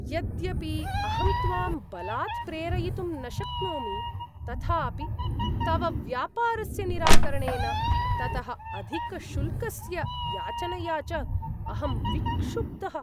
यद्यपि अहं त्वां बलात् प्रेरयितुं न शक्नोमि, तथापि तव व्यापारस्य निराकरणेन, ततः अधिकशुल्कस्य याचनया च अहं विक्षुब्धः।